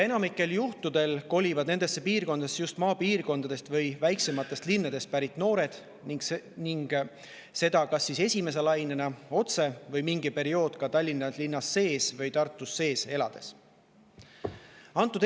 Enamikul juhtudel kolivad nendesse piirkondadesse just maapiirkondadest või väiksematest linnadest pärit noored, seda kas siis esimese lainega ehk otse või mingi periood Tallinna või Tartu linnas elatud.